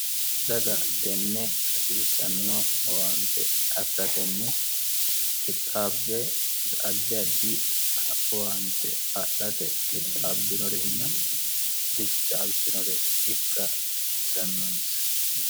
daga tenne hasiissanno owaante afira tenne qixaabbe addi adi owaante adhate qixaabbinorenna bichaaltinore ikka hasiisannoonsa